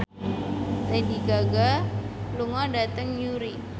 Lady Gaga lunga dhateng Newry